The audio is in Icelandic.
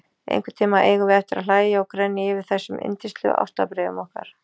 Einhvern tíma eigum við eftir að hlæja og grenja yfir þessum yndislegu ástarbréfum okkar.